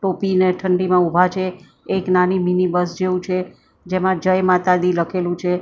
ટોપીને ઠંડીમાં ઉભા છે. એક નાની મીની બસ જેવું છે જેમાં જય માતા દી લખેલું છે--